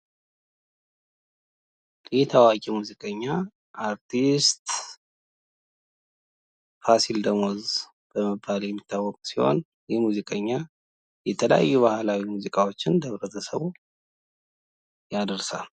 ይሄ ታዋቂ ሙዚቀኛ አርቲስት ፋሲል ደሞዝ በመባል የሚታወቅ ሲሆን ይሄ ሙዚቀኛ የተለያዩ ባህላዊ ሙዚቃዎችን ለህብረተሰቡ ያደርሳል።